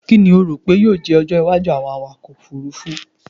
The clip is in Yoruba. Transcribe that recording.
Kini o ro pe yoo jẹ ọjọ iwaju ti awọn ọkọ ofurufu ofurufu?